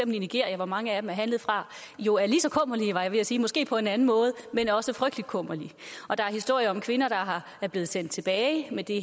nigeria hvor mange af dem er handlet fra jo er lige så kummerlige var jeg ved at sige måske på en anden måde men også frygtelig kummerlige og der er historier om kvinder der er blevet sendt tilbage med det